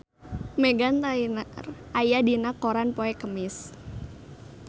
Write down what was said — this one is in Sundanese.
Meghan Trainor aya dina koran poe Kemis